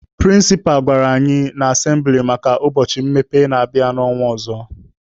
Prịnsịpa gwara anyị n'asembịli maka ụbọchị mmepe na-abịa n'ọnwa ọzọ.